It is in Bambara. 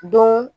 Don